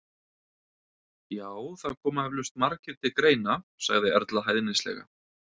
Já, það koma eflaust margir til greina sagði Erla hæðnislega.